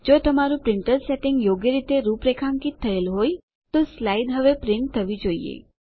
જો તમારું printer settings યોગ્ય રીતે રૂપરેખાંકિત થયેલ હોય તો સ્લાઇડ્સ હવે પ્રિન્ટ થવી શરૂ થવી જોઈએ